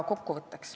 Kokkuvõte.